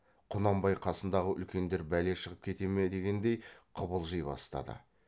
құнанбай қасындағы үлкендер бәле шығып кете ме дегендей қыбылжи бастады